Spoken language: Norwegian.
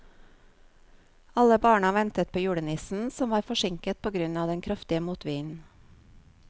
Alle barna ventet på julenissen, som var forsinket på grunn av den kraftige motvinden.